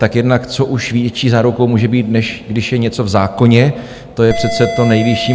Tak jednak, co už větší zárukou může být, než když je něco v zákoně, to je přece to nejvyšší.